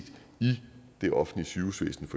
i det offentlige sygehusvæsen